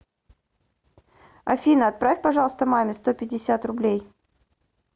афина отправь пожалуйста маме сто пятьдесят рублей